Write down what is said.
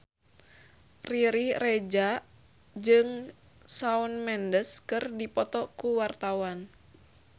Riri Reza jeung Shawn Mendes keur dipoto ku wartawan